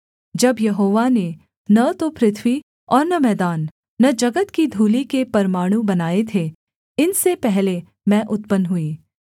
जब यहोवा ने न तो पृथ्वी और न मैदान न जगत की धूलि के परमाणु बनाए थे इनसे पहले मैं उत्पन्न हुई